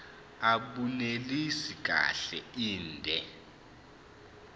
abunelisi kahle inde